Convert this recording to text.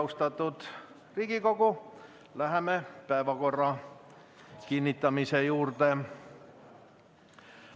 Austatud Riigikogu, läheme päevakorra kinnitamise juurde.